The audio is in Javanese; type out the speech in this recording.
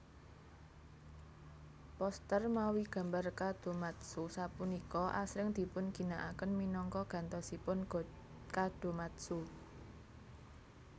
Poster mawi gambar kadomatsu sapunika asring dipunginakaken minangka gantosipun kadomatsu